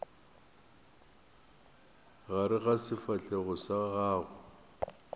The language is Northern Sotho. gare ga sefahlego sa gago